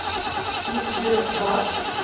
избербаш